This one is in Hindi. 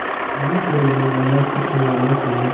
भानकुँवरि ने लाला छक्कन लाल से